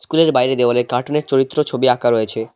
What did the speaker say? স্কুলের বাইরে দেওয়ালে কার্টুনের চরিত্র ছবি আঁকা রয়েছে।